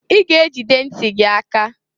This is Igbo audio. I ga ejide nti gị aka!